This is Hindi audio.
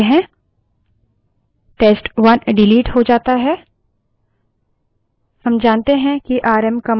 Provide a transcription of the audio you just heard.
और यदि rm आरएम test1 चलाते हैं test1 डिलीट हो जाता है